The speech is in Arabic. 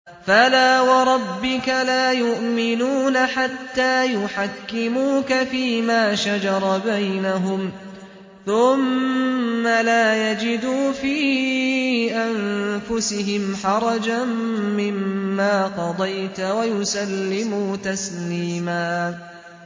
فَلَا وَرَبِّكَ لَا يُؤْمِنُونَ حَتَّىٰ يُحَكِّمُوكَ فِيمَا شَجَرَ بَيْنَهُمْ ثُمَّ لَا يَجِدُوا فِي أَنفُسِهِمْ حَرَجًا مِّمَّا قَضَيْتَ وَيُسَلِّمُوا تَسْلِيمًا